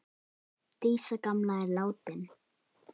Dísa gamla er látin.